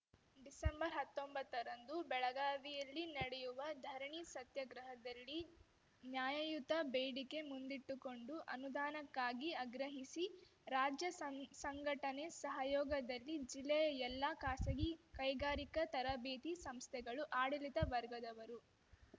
ಡಿಸೆಂಬರ್ಹತ್ತೊಂಬತ್ತ ರಂದು ಬೆಳಗಾವಿಯಲ್ಲಿ ನಡೆಯುವ ಧರಣಿ ಸತ್ಯಾಗ್ರಹದಲ್ಲಿ ನ್ಯಾಯಯುತ ಬೇಡಿಕೆ ಮುಂದಿಟ್ಟುಕೊಂಡು ಅನುದಾನಕ್ಕಾಗಿ ಅಗ್ರಹಿಸಿ ರಾಜ್ಯ ಸಂಗ್ ಸಂಘಟನೆ ಸಹಯೋಗದಲ್ಲಿ ಜಿಲ್ಲೆಯ ಎಲ್ಲಾ ಖಾಸಗಿ ಕೈಗಾರಿಕಾ ತರಬೇತಿ ಸಂಸ್ಥೆಗಳ ಆಡಳಿತ ವರ್ಗದವರು